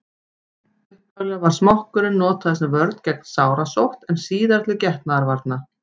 upphaflega var smokkurinn notaður sem vörn gegn sárasótt en síðar til getnaðarvarna